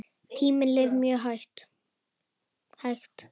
Tíminn leið mjög hægt.